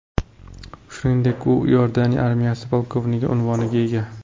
Shuningdek, u Iordaniya armiyasi polkovniki unvoniga ega.